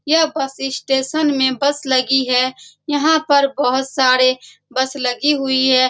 यह bus station में bus लगी है यहाँ पर बहुत सारे बस लगी हुई हैं ।